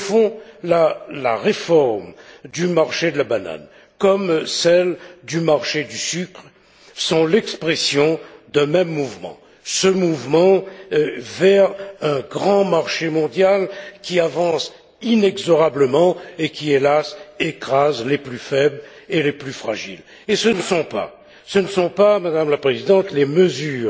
Au fond, la réforme du marché de la banane, comme celle du marché du sucre, sont l'expression d'un même mouvement vers un grand marché mondial qui avance inexorablement et qui, hélas, écrase les plus faibles et les plus fragiles. Et ce ne sont pas, Madame la Présidente, les mesures